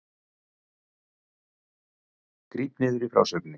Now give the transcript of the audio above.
Gríp niður í frásögninni